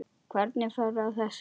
Hvernig ferðu að þessu?